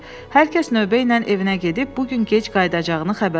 Hər kəs növbəylə evinə gedib bu gün gec qayıdacağını xəbər elə.